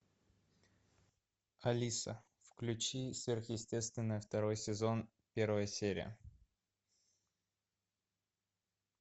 алиса включи сверхъестественное второй сезон первая серия